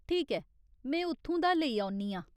ठीक ऐ, में उत्थूं दा लेई औन्नी आं।